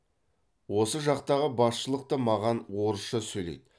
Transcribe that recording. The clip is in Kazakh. осы жақтағы басшылық та маған орысша сөйлейді